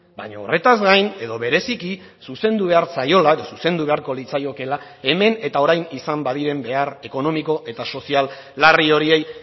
baina horretaz gain edo bereziki zuzendu behar zaiola edo zuzendu beharko litzaiokela hemen eta orain izan badiren behar ekonomiko eta sozial larri horiei